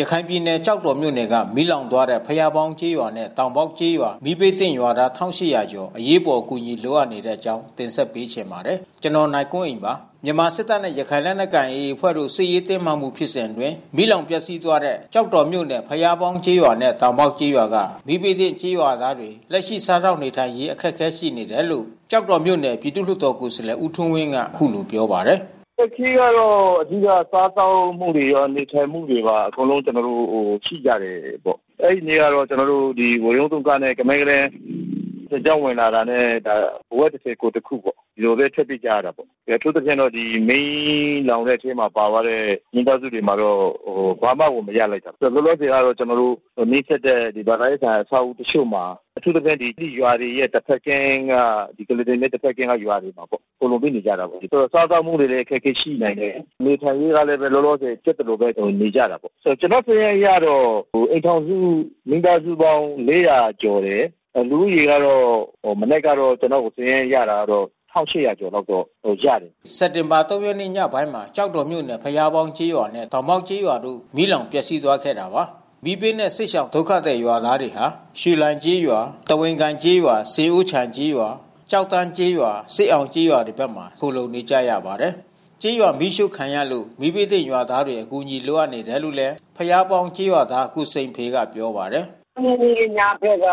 ရခိုင်ပြည်နယ် ကျောက်တော်မြို့နယ်က မီးလောင်သွားတဲ့ ဘုရားပေါင်းကျေးရွာနဲ့တောင်ပေါက်ကျေးရွာ မီးဘေးသင့်ရွာသား ၁,၈၀၀ ကျော် အရေးပေါ် အကူညီလိုအပ်နေတဲ့အကြောင်းတင်ဆက်ပေးချင်ပါတယ်။ ဗွီအိုအေမြန်မာပိုင်းသတင်းထောက် ကိုနိုင်ကွန်းအိန်က သတင်းပေးပို့ထားပါတယ်။ မြန်မာစစ်တပ်နဲ့ ရခိုင်လက်နက်ကိုင် AA အဖွဲ့တို့စစ်ရေးတင်းမာမှုဖြစ်စဉ်အတွင်း မီးလောင်ပျက်စီးသွားတဲ့ ကျောက်တော်မြို့နယ် ဘုရားပေါင်းကျေးရွာနဲ့ တောင်ပေါက်ကျေးရွာက မီးဘေးသင့်ရွာသားတွေ လက်ရှိစားသောက်နေ ထိုင်ရေးအခက်ခဲရှိနေတယ်လို့ ကျောက်တော်မြို့နယ် ပြည်သူလွှတ်တော်ကိုယ်စားလှယ် ဦးထွန်းဝင်းက အခုလိုပြောပါတယ်။ "အခက်ခဲကတော့ အဓိက စားသောက်မှုတွေရော၊ နေထိုင်မူတွေပါ အကုန်လုံး ကျနော်တို့ ရှိကြတယ်ပေါ့။ အဲဒီနေ့ကတော့ ကျနော်တို့ ဝရုန်းသုံးကားနဲ့ ကမန်းကတန်း စစ်ကြောင်းဝင်လာတာနဲ့ အဝတ်တထည် ကိုယ်တခုပေါ့... ဒီလိုပဲ ထွက်ပြေးကြတာပေါ့။ အထူးသဖြင့်တော့ မီးလောင်တဲ့အထဲမှာ ပါသွားတဲ့ မိသာစုတွေမှာတော့ ဘာမှကို မရလိုက်ဘူး။ လောလောဆယ်က ကျနော်တို့ နီးစပ်တဲ့ ဘာသာရေးဆိုင်ရာ အဆောက်အဦးတချို့မှာ အထူးသဖြင့် ရွာတွေရဲ့ တဘက်ကမ်းက ကုလားတန် မြစ်တဘက်ကမ်းက ရွာတွေမှာပေါ့... ခိုလှုံပြီးနေကြတာပေါ့။ ဆိုတော့ စားသောက်မှုတွေကလည်း အခက်ခဲရှိနိုင်တယ်။ နေထိုင်ရေးကလည်း လောလောဆယ် ဖြစ်သလိုပဲ နေကြတာပေါ့။ ကျနော့် စာရင်းအရတော့ အိမ်ထောင်စု မိသားစုပေါင်း ၄၀၀ ကျော်တယ်။ လူဦးရေကတော့ မနက်ကတော့ ကျနော်စာရင်းအရကတော့ ၁,၈၀၀ ကျော်လောက်ကတော့ ရတယ်။" စက်တင်ဘာ ၃ ရက်နေ့ ညပိုင်းမှာ ကျောက်တော်မြို့နယ် ဘုရားပေါင်းကျေးရွာနဲ့ တောင်ပေါက်ကျေးရွာတို့ မီးလောင် ပျက်စီးသွားခဲ့တာပါ။ မီးဘေးနဲ့ စစ်ရှောင်ဒုက္ခသည်ရွာသားတွေဟာ ရွှေလိုင်ကျေးရွာ၊ သဝင်ကိုင်ကျေးရွာ၊ ဆင်အိုးချိုင်ကျေးရွာ၊ ကျောက်တန်းကျေးရွာ၊ စစ်အောင်ကျေးရွာဘက်တွေမှာ ခိုလှုံနေကြရပါတယ်။ ကျေးရွာမီးရှို့ခံရလို့ မီးဘေးသင့်ရွာသားတွေ အကူညီလိုအပ်နေတယ်လို့ ဘုရားပေါင်းကျေးရွာသား ကိုစိန်ဖေကပြောပါတယ်။ "၃ ရက်နေ့ ညဘက်က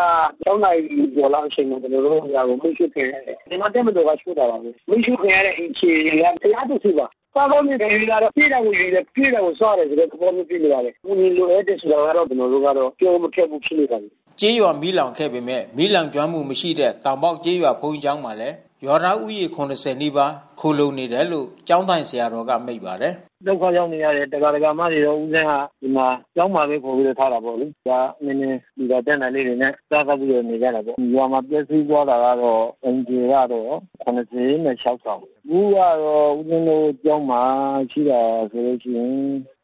၆ နာရီကျော်ကျော်လောက်အချိန်မှာ ကျနော်တို့ ရွာ မီးရှို့ခံရတယ်။ မြန်မာ့တပ်မတော်က ရှို့တာပါ။ မီးရှို့ခံရတဲ့အိမ်ခြေက ၁၁၀ ပါ။ စားသောက်နေထိုင်ရေးကတော့ ပေးတာကို ယူတယ်၊ ကျွေးတာကို စားတဲ့ သဘောမျိုးဖြစ်နေပါတယ်။ အကူညီလိုအပ်တယ်ဆိုတာကတော့ ကျနော်ကတော့ ပြောဖို့မခက်ဘူး ဖြစ်နေပါတယ်။" ကျေးရွာမီးလောင်ခဲ့ပေမဲ့ မီးလောင်ကျွမ်းမှု မရှိတဲ့ တောင်ပေါက်ကျေးရွာဘုန်းကြီးကျောင်းမှာလည်း ရွာသားဦးရေ ၇၀ နီးပါး ခိုလှုံနေတယ်လို့ ကျောင်းထိုင်ဆရာတော်က မိန့်ပါတယ်။ "ဒုက္ခရောက်နေရတဲ့ ဒကာ၊ ဒကာမတွေကို ဦးဇင်က ဒီမှာကျောင်းမှာပဲ ကူညီထားတာပေါ့လေ။ ဒကာအချင်းချင်း လှူတာကမ်းတာလေးတွေနဲ့ စားသောက်ပြီးတော့ နေကြတာပေါ့။ ဒီရွာမှာ ပျက်စီးသွားတာကတော့ အိမ်ခြေကတော့ ၇၆ ဆောင် ဒီနေ့ကတော့ ဦးဇင်းရဲ့ ကျောင်းမှာ ရှိတာဆိုလိုရှိရင်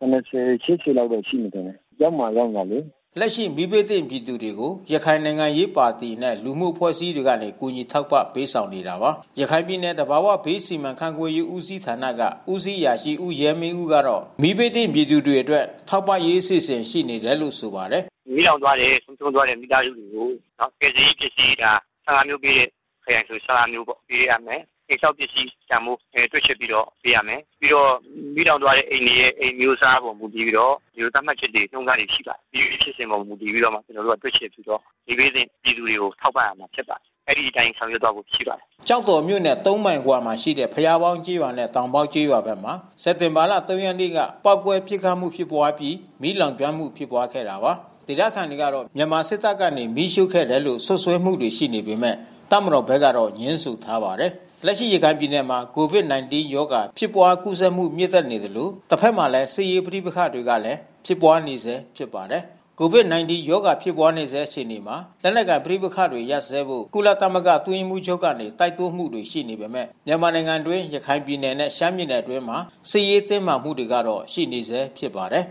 ၇၀၊ ၈၀ လောက်တော့ရှိမယ်ထင်တယ်... ကျောင်းမှာ ရောက်နေတာလေ။" လက်ရှိမီးဘေးသင့်ပြည်သူတွေကို ရခိုင်နိုင်ငံရေးပါတီနဲ့ လူမှုအဖွဲ့အစည်းတွေကနေ ကူညီထောက်ပံ့ပေးဆောင်နေတာပါ။ ရခိုင်ပြည်နယ်၊ သဘာဝဘေးစီမံခန့်ခွဲရေးဦးစီးဌာနက ဦးစီးအရာရှိ ဦးရဲမင်းဦးကတော့ မီးဘေးသင့်ပြည်သူတွေအတွက် ထောက်ပံ့ရေး အစီအစဉ်ရှိနေတယ်လို့ ဆိုပါတယ်။ "မီးလောင်သွားတဲ့၊ သေဆုံးသွားတဲ့ မိသားစုတွေကို ကယ်ဆယ်ရေးပစ္စည်းတွေက ၁၅ မျိုးပေးတဲ့ ခရိုင်တွေဆို ၁၅ မျိုးပေါ့ပေးရမယ်။ အိမ်ဆောက်ပစ္စည်းတန်ဖိုး တွက်ချက်ပြီးတော့ ပေးရမယ်။ ပြီးတော့ မီးလောင်သွားတဲ့အိမ်တွေရဲ့ အိမ်အမျိုးအစားအပေါ် မူတည်ပြီးတော့ သတ်မှတ်ချက်တွေ၊ နှုန်းထားတွေ ရှိပါတယ်။ အဲဒီအခြေအပေါ်မူတည်ပြီးတော့ ကျနော်တို့ တွက်ချက်ပြီးတော့ မီးဘေးသင့်ပြည်သူတွေကို ထောက်ပံ့မယ်ဖြစ်ပါတယ်။ အဲဒီအတိုင်းဆောင်ရွက်သွားမှာ ဖြစ်ပါတယ်။" ကျောက်တော်မြို့နယ် ၃ မိုင်အကွာမှာရှိတဲ့ ဘုရားပေါင်းကျေးရွာနဲ့ တောင်ပေါက်ကျေးရွာဖက်မှာ စက်တင်ဘာ ၃ ရက်နေ့က ပေါက်ကွဲ ပစ်ခတ်မှု ဖြစ်ပွါးအပြီး မီးလောင်မှု ဖြစ်ပွါးခဲ့တာပါ။ ဒေသခံတွေကတော့ မြန်မာစစ်တပ်ကနေ မီးရှို့ခဲ့တယ်လို့ စွပ်စွဲမှုတွေ ရှိနေပေမဲ့ တပ်မတော်ဘက်ကတော့ ငြင်းဆိုထားပါတယ်။ လက်ရှိရခိုင်ပြည်နယ်မှာ COVID-19 ရောဂါ ဖြစ်ပွါးကူးစက်မှု မြင့်တက်နေသလို တဘက်မှာလည်း စစ်ရေးပဋိပက္ခကလည်း ဖြစ်ပွါးနေဆဲဖြစ်ပါတယ်။ COVID-19 ရောဂါ ဖြစ်ပွါးဆဲအခြေအနေမှာ လက်နက်ကိုင်ပဋိပက္ခတွေ ရပ်စဲဖို့ ကုလသမဂ္ဂအတွင်းရေးမှူးချုပ်ကနေ တိုက်တွန်းမှုတွေ ရှိနေပေမဲ့ မြန်မာနိုင်ငံအတွင်း ရခိုင်ပြည်နယ်နဲ့ ရှမ်းပြည်နယ်အတွင်းမှာ စစ်ရေးတင်းမာမှုကတော့ ရှိနေဆဲဖြစ်ပါတယ်